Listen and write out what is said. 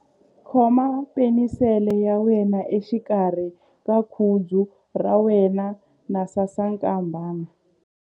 Khoma penisele ya wena exikarhi ka khudzu ra wena na sasankambana.ingana na ya mina.